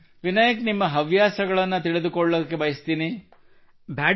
ವಿನಾಯಕ್ ನಿಮ್ಮ ಹವ್ಯಾಸಗಳನ್ನು ತಿಳಿದುಕೊಳ್ಳಲು ಬಯಸುತ್ತೇನೆ Vinayak I would like to know your hobbies